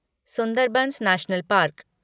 Sundarbans national park